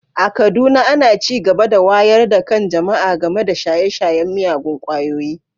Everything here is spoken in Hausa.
A Kaduna ana ci gaba da wayar da kan jama’a game da shaye-shayen miyagun ƙwayoyi